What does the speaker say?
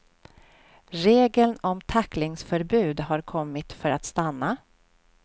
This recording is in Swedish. Regeln om tacklingsförbud har kommit för att stanna.